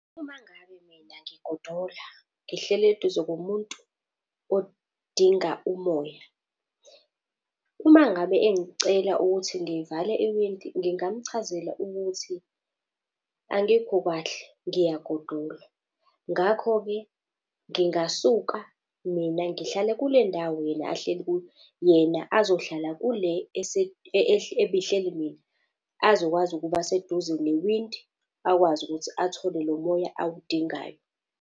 Uma ngabe mina ngigodola, ngihleli eduze komuntu odinga umoya, uma ngabe engicela ukuthi ngivale iwindi, ngingamchazela ukuthi angikho kahle ngiyagodola. Ngakho-ke, ngingasuka mina ngihlale kule ndawo yena ahleli kuyo, yena azohlala kule ebihleli mina azokwazi ukuba seduze newindi akwazi ukuthi athole lo moya awudingayo.